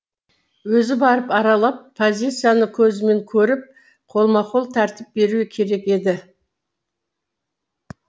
өзі барып аралап позицияны көзімен көріп қолма қол тәртіп беруі керек еді